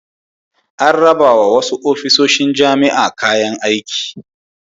An rabawa wasu ofisoshin jami'a kayan aiki.